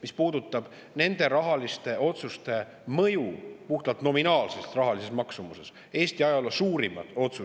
Mis puudutab nende otsuste mõju puhtalt nominaalses rahalises maksumuses, siis on see olukord pretsedenditu.